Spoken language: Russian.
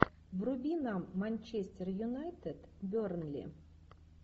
вруби нам манчестер юнайтед бернли